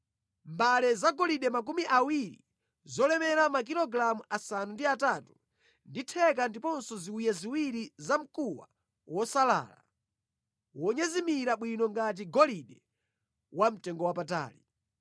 mbale zagolide makumi awiri zolemera makilogalamu asanu ndi atatu ndi theka ndiponso ziwiya ziwiri zamkuwa wosalala, wonyezimira bwino ngati golide wamtengowapatali.